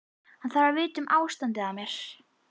Hann þarf að vita um ástandið á mér.